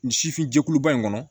Nin sifin jɛkuluba in kɔnɔ